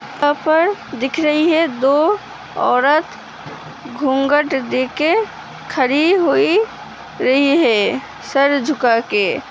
यहाँं पर दिख रही है दो औरत घुंघट देके खरी हुई रही है सर झुका के।